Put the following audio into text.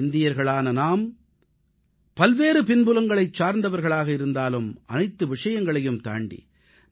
இந்தியர்களான நாம் பல்வேறு பின்புலங்களைச் சார்ந்தவர்களாக இருந்தாலும் அனைத்து விஷயங்களையும் தாண்டி